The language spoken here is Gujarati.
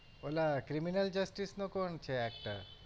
ઓલા criminal justice નો કોણ છે actor?